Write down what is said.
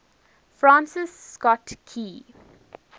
francis scott key